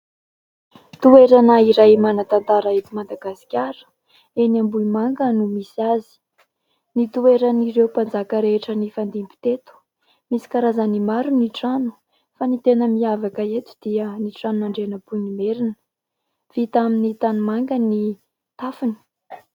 Toerana iray manantantara eto Madagasikara, eny Ambohimanga no misy azy. Nitoeran'ireo mpanjaka rehetra nifandimby teto. Misy karazany maro ny trano ; fa ny tena mihavaka eto dia, ny tranon'Andrianampoinimerina : vita amin'ny tanimanga ny tafony.